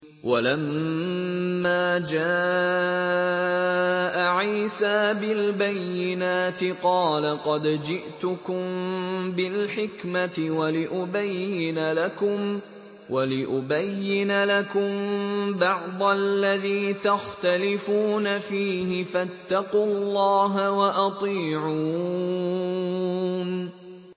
وَلَمَّا جَاءَ عِيسَىٰ بِالْبَيِّنَاتِ قَالَ قَدْ جِئْتُكُم بِالْحِكْمَةِ وَلِأُبَيِّنَ لَكُم بَعْضَ الَّذِي تَخْتَلِفُونَ فِيهِ ۖ فَاتَّقُوا اللَّهَ وَأَطِيعُونِ